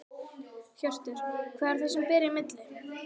Hjörtur: Hvað er það sem að ber í milli?